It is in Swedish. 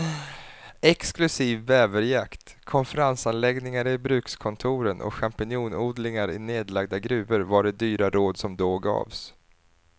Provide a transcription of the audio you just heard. Exklusiv bäverjakt, konferensanläggningar i brukskontoren och champinjonodlingar i nedlagda gruvor var de dyra råd som då gavs.